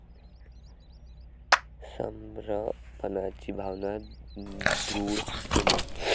समर्पणाची भावना द्रुढ होणे.